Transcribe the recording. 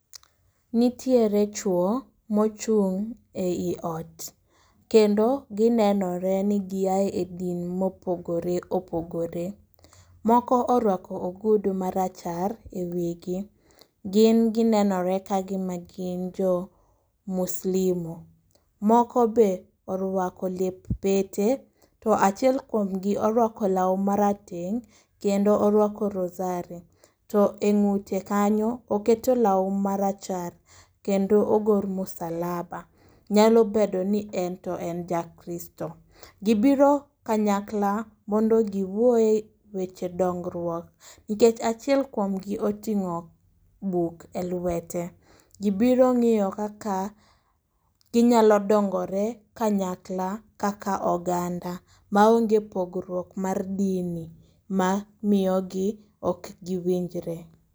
Nitiere chuo mochung' ei ot, kendo ginenore ni giae e din mopogore opogore. Moko orwako ogudu marachar e wigi, gin ginenore ka gima gin jo Muslimu. Moko be orwako lep pete, to achiel kuom gi orwako lawu marateng' kendo orwako rozari. To e ng'ute kanyo oketo lawu marachar kendo ogor msalaba, nyalo bedo ni en ja Kristo. Gibiro kanyakla mondo giwuoye weche dongruok, nikech achiel kuom gi oting'o buk e lwete. Gibiro ng'iyo kaka ginyalo dongore kanyakla kaka oganda, maonge pogruok mar dini ma miyogi ok giwinjre.